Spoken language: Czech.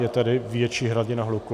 Je tady větší hladina hluku.